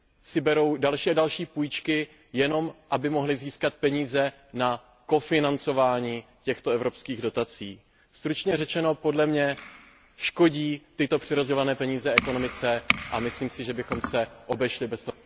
si berou další a další půjčky, jenom aby mohly získat peníze na kofinancování těchto evropských dotací. Stručně řečeno, podle mě škodí tyto přerozdělované peníze ekonomice a myslím si, že bychom se obešli bez